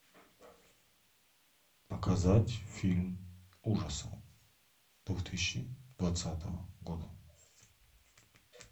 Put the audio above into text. показать фильм ужасов две тысячи двадцатого года